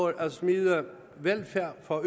at smide velfærd for